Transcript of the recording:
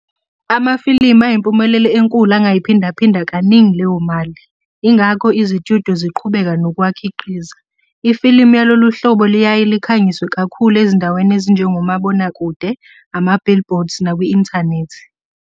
Amafilimu ayimpumelelo enkulu angayiphinda phinda kaningi leyomali, ingakho izitudyo ziqhubeka nokuwakhiqiza. Ifilimu yalolu hlobo liyaye likhangiswe kakhulu ezindaweni ezinjengo mabonakude, ama-billboards nakwi inthanethi.